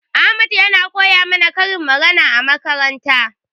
Ahmad yana koya mana karin magana a makaranta.